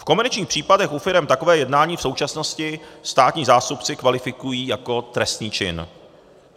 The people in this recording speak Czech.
V komerčních případech u firem takové jednání v současnosti státní zástupci kvalifikují jako trestný čin.